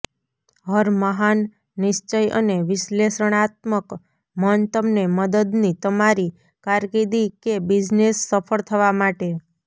હર મહાન નિશ્ચય અને વિશ્લેષણાત્મક મન તમને મદદની તમારી કારકિર્દી કે બિઝનેસ સફળ થવા માટે